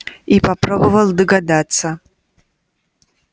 и попробовал догадаться